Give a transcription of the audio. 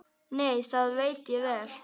Nei, það veit ég vel.